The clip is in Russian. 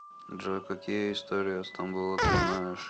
джой какие история стамбула ты знаешь